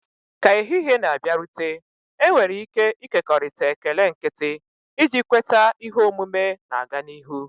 Ka ehihie na-abịarute, enwere ike ịkekọrịta ekele nkịtị, iji kweta ihe omume na-aga n'ihu.